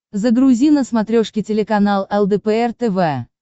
загрузи на смотрешке телеканал лдпр тв